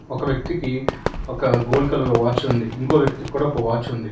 ఒక వ్యక్తికి ఒక గోల్డ్ కలర్ వాచ్ ఉంది ఇంకో వ్యక్తి కూడా ఒక వాచ్ ఉంది.